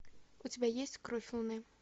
у тебя есть кровь луны